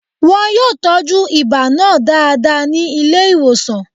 Wọn yóò tọ́jú ibà náà dáadáa ní ilé ìwòsàn